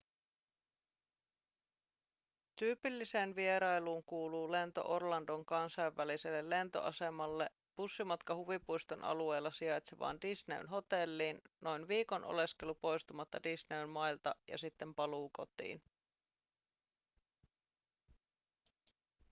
tyypilliseen vierailuun kuuluu lento orlandon kansainväliselle lentoasemalle bussimatka huvipuiston alueella sijaitsevaan disneyn hotelliin noin viikon oleskelu poistumatta disneyn mailta ja sitten paluu kotiin